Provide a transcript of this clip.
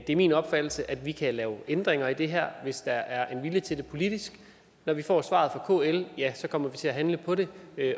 det er min opfattelse at vi kan lave ændringer i det her hvis der er en vilje til det politisk når vi får svaret fra kl kommer vi til at handle på det